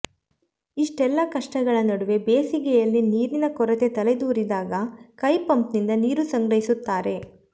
ಇಷ್ಟೆಲ್ಲಾ ಕಷ್ಟಗಳ ನಡುವೆ ಬೇಸಿಗೆಯಲ್ಲಿ ನೀರಿನ ಕೊರತೆ ತಲೆದೋರಿದಾಗ ಕೈಪಂಪ್ನಿಂದ ನೀರು ಸಂಗ್ರಹಿಸುತ್ತಾರೆ